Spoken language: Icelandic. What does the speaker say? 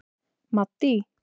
Maddý